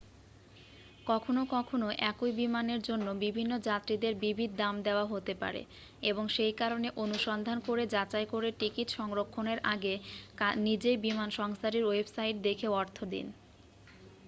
কখনও কখনও একই বিমানের জন্য বিভিন্ন যাত্রীদের বিবিধ দাম দেওয়া হতে পারে এবং সেই কারণে অনুসন্ধান করে যাচাই করে টিকিট সংরক্ষণের আগে নিজেই বিমান সংস্থাটির ওয়েবসাইট দেখে অর্থ দিন